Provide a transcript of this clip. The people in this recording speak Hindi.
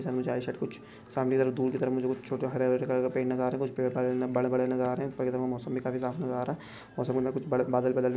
सामने झाड़ी सा कुछ सामने दूर की तरफ कुछ छोटे हरे-हरे कलर का पेड़ नज़र आ रहे है कुछ पेड़ बड़े-बड़े भी नज़र आ रहे है पर ये देखो मौसम भी काफी साफ़ नज़र आ रहा है और समुन्दर में कुछ बड़े बादल भी --